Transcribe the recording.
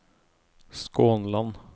Skånland